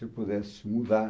Se eu pudesse mudar...